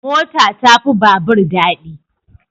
Mota ta fi babur dadi